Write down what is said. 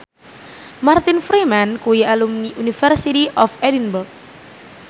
Martin Freeman kuwi alumni University of Edinburgh